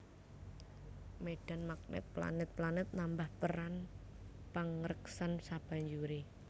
Médhan magnèt planèt planèt nambah peran pangreksan sabanjuré